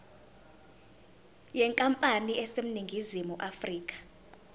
yenkampani eseningizimu afrika